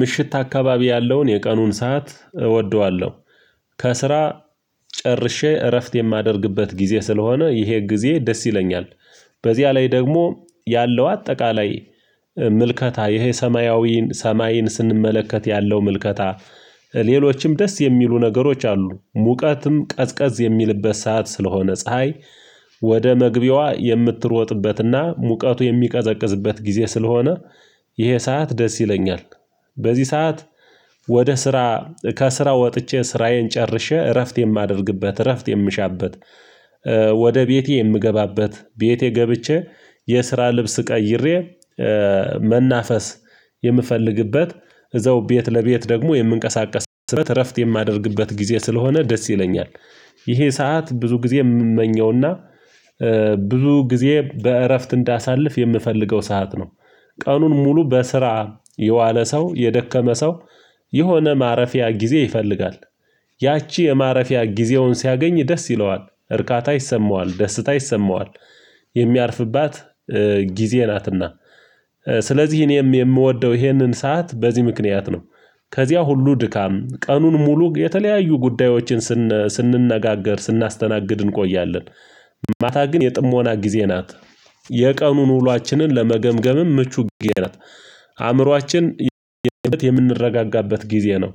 ምሽት አካባቢ ያለውን የቀኑን ሰዓት እወደዋለሁ ከስራ ጨርሼ እረፍት የማደርግበት ጊዜ ስለሆነ ይሄ ጊዜ ደስ ይለኛል። በዚያ ላይ ደግሞ ያለው አጠቃላይ ምልከታ ይሄ ሰማያዊን ሰማይን ስንመለከት ያለው ምልከታ። ሌሎችም ደስ የሚሉ ነገሮች አሉ ሙቀትም ቀዝቀዝ የሚልበት ሰዓት ስለሆነ ፀሀይ ወደ መግቢያዋ የምትሮጥበትና ሙቀቱ የሚቀዘቅዝበት ጊዜ ስለሆነ ይሄ ሰዓት ደስ ይለኛል። በዚህ ሰዓት ወደ ስራ ከስራ ወጥቼ ስራዬን ጨርሼ እረፍት የማደርግበት እረፍት የምሻበት ወደ ቤቴ የምገባበት ቤቴ ገብቼ የስራ ልብስ ቀይሬ መናፈስ የምፈልግበት እዛው ቤት ለቤት ደግሞ የምንቀሳቀስበት እረፍት የማደርግበት ጊዜ ስለሆነ ደስ ይለኛል። ይሄ ሰዓት ብዙ ጊዜ የምመኘውና ብዙ ጊዜ በእረፍት እንዳሳልፍ የምፈልገው ሰዓት ነው። ቀኑን ሙሉ በስራ የዋለ ሰው የደከመ ሰው የሆነ ማረፊያ ጊዜ ይፈልጋል ያቺ የማረፊያ ጊዜውን ሲያገኝ ደስ ይለዋል እርካታ ይሰማዋል ደስታ ይሰማዋል። የሚያርፍባት ጊዜ ናትና ስለዚህ እኔም የምወደው ይሄንን ሰዓት በዚህ ምክንያት ነው። ከዚያ ሁሉ ድካም ቀኑን ሙሉ የተለያዩ ጉዳዮችን ስንነጋገር ስናስተናግድ እንቆያለን ማታ ግን የጥሞና ጊዜ ናት። የቀኑን ውሏችንን ለመገምገምም ምቹ ጊዜ ናት። አእምሮአችን የምንረጋጋበት ጊዜ ነው።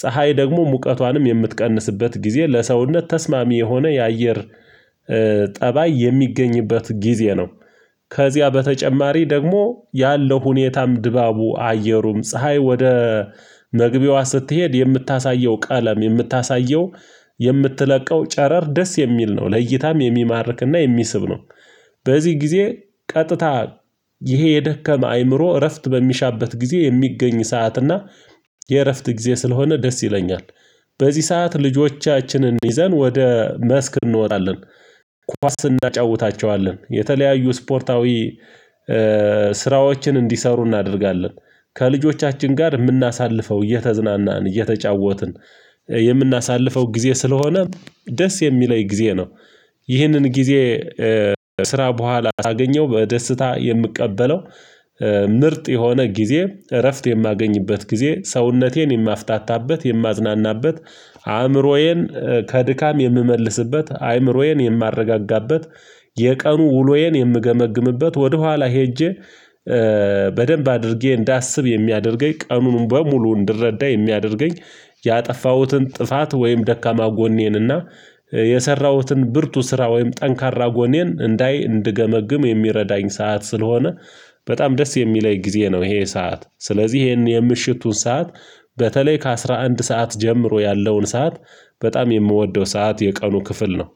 ፀሀይ ደግሞ ሙቀቷንም የምትቀንስበት ጊዜ ለሰውነት ተስማሚ የሆነ የአየር ጠባይ የሚገኝበት ጊዜ ነው። ከዚያ በተጨማሪ ደግሞ ያለው ሁኔታም ድባቡ አየሩም ፀሀይ ወደ መግቢያዋ ስትሄድ የምታሳየው ቃለም የምታሳየው የምትለቀው ጨረር ደስ የሚል ነው ለእይታም የሚማርክና የሚስብ ነው። በዚህ ጊዜ ቀጥታ ይሄ የደከመ አይምሮ እረፍት በሚሻበት ጊዜ የሚገኝ ሰዓት እና የእረፍት ጊዜ ስለሆነ ደስ ይለኛል። በዚህ ሰዓት ልጆቻችንን ይዘን ወደ መስክ እንወጠለን ኳስ እንዳጫውታቸዋለን የተለያዩ ስፖርታዊ ስራዎችን እንዲሰሩ እናደርጋለን ከልጆቻችን ጋር የምናሳልፈው እየተዝናናን እየተጫወትን የምናሳልፈው ጊዜ ስለሆነ ደስ የሚለኝ ጊዜ ነው። ይህንን ጊዜ ስራ በኋላ አገኘው በደስታ የምቀበለው ምርጥ የሆነ ጊዜ እረፍት የማገኝበት ጊዜ ሰውነቴን የማፍታታበት የማዝናናበት አእምሮዬን ከድካም የምመልስበት አይምሮዬን የማረጋጋበት የቀኑ ውሎዬን የምገመግምበት ወደኋላ ሄጄ በደንብ አድርጌ እንዳስብ የሚያደርገኝ ቀኑንም በሙሉ እንድረዳ የሚያደርገኝ ያጠፋሁትን ጥፋት ወይም ደካማ ጎኔንና የሰራሁትን ብርቱ ስራ ወይም ጠንካራ ጎኔን እንዳይ እንድገመግም የሚረዳኝ ሰዓት ስለሆነ። በጣም ደስ የሚለኝ ጊዜ ነው ይሄ ሰዓት ስለዚህ ይሄን የምሽቱን ሰዓት በተለይ ከአስራ አንድ ሰዓት ጀምሮ ያለውን ሰዓት በጣም የምወደው ሰዓት የቀኑ ክፍል ነው